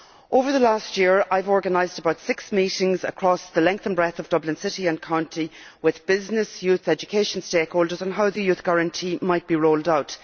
Over the last year, I have organised some six meetings across the length and breadth of Dublin City and County, with businesses and youth education stakeholders, on how the Youth Guarantee might be rolled out.